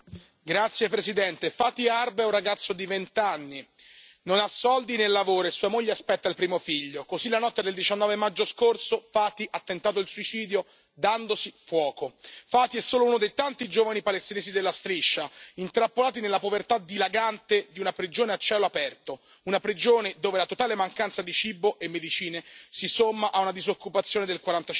Signora Presidente, onorevoli colleghi, Fathi Harb è un ragazzo di vent'anni, non ha soldi né lavoro, e sua moglie aspetta il primo figlio. Così, la notte del 19 maggio scorso, Fathi ha tentato il suicidio dandosi fuoco. Fathi è solo uno dei tanti giovani palestinesi della Striscia intrappolati nella povertà dilagante di una prigione a cielo aperto, una prigione dove la totale mancanza di cibo e medicine si somma a una disoccupazione del